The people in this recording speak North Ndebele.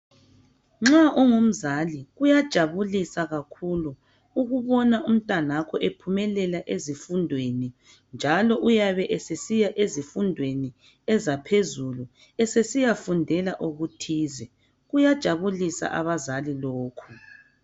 Nxa ungumzali kuyajabulisa kakhulu ukubona umntanakho ephumelela ezifundweni njalo uyabe esesiya ezifundweni ezaphezulu esesiyafundela okuthize. Kuyajabulisa abazali lokho.